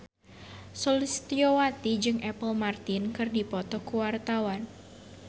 Sulistyowati jeung Apple Martin keur dipoto ku wartawan